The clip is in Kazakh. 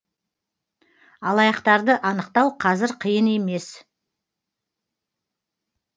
алаяқтарды анықтау қазір қиын емес